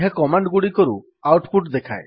ଏହା କମାଣ୍ଡ୍ ଗୁଡିକରୁ output ଦେଖାଏ